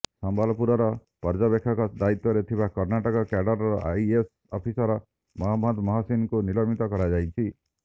ସମ୍ବଲପୁରର ପର୍ଯ୍ୟବେକ୍ଷକ ଦାୟିତ୍ୱରେ ଥିବା କର୍ଣ୍ଣାଟକ କ୍ୟାଡରର ଆଇଏଏସ ଅଫିସର ମହମ୍ମଦ ମହସିନଙ୍କୁ ନିଲମ୍ବିତ କରାଯାଇଛି